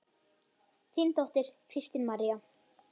Þín dóttir, Kristín María.